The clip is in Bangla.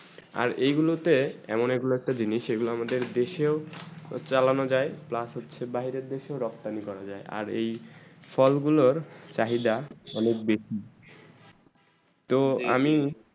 আর এইগুলা তে এমন গুলু একটা জিনিস এই গুলু আমার দেশে ও চালানো যায় plus হচ্ছে বাইরে দেশে রক্তৰ করা যায় আর এই ফল গুলু চাহিদা অনেক বেশি তো আমি